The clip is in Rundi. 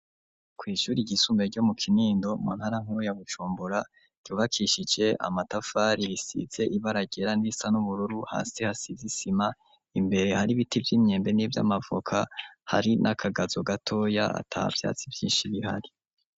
Kw'ishuri igisumbe ryo mu kinindo mu ntara nkuru ya gucumbora ryubakishije amatafari bisize ibaragera n'isa n'ubururu hasi hasizisima imbere hari ibiti vy'imyembe n'ivyo amavoka hari n'akagazo gatoya ata vyatsi vyinshi bihari.